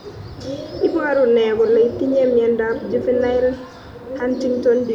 Iporu ne kole itinye miondap Juvenile Huntington disease ?